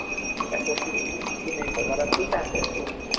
ଇଟା ବସିଥିଲି କିଛି ନାଇଁ କରିବାର ଅଛି ତା ପରକୁ